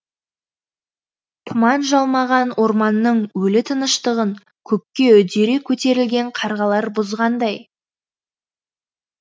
тұман жалмаған орманның өлі тыныштығын көкке үдере көтерілген қарғалар бұзғандай